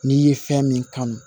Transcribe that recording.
N'i ye fɛn min kanu